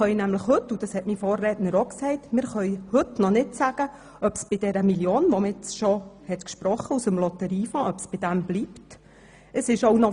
Wie mein Vorredner schon gesagt hat, können wir nämlich heute noch nicht sagen, ob es bei dieser Million Franken bleibt, die man bereits zulasten des Lotteriefonds gesprochen hat.